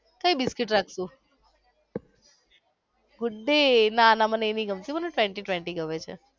કઈ બિસ્કિટ રાખશો good day નાના મને એ નઈ ગમતું મને twenty twenty ગમે છે.